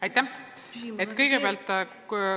Aitäh!